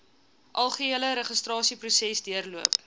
algehele registrasieproses deurloop